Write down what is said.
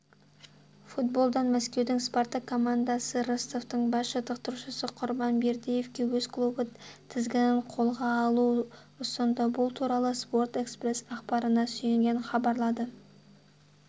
футболдан мәскеудің спартак командасы ростовтың бас жаттықтырушысы құрбан бердыевке өз клубы тізгінін қолға алуды ұсынды бұл туралы спорт-экспресс ақпарына сүйенген хабарлады